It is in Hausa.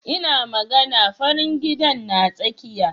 Ina magana farin gidan na tsakiya.